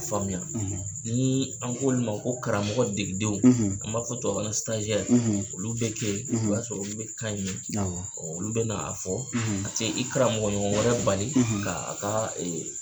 Faamuya nii an k'olu ma ko karamɔgɔ degidenw, an b'a fɔ tuwawukan olu be ke ye o y'a sɔrɔ olu be kan in mɛ, awɔ olu bɛna a fɔ, a te i karamɔgɔɲɔgɔn wɛrɛ bali kaa a kaa